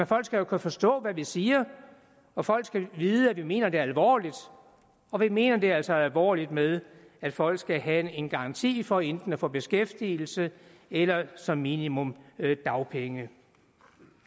folk skal jo kunne forstå hvad vi siger og folk skal vide at vi mener det alvorligt og vi mener det altså alvorligt med at folk skal have en garanti for enten at få beskæftigelse eller som minimum dagpenge